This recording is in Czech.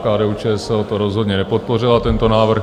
KDU-ČSL to rozhodně nepodpořila, tento návrh.